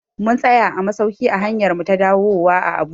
Mun tsaya a masauki a hanyarmu ta dawuwa a Abuja